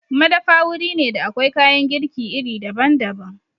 Madafa wuri ne da akwai kayan girki iri daban-daban.